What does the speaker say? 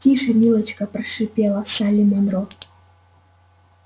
тише милочка прошипела салли манро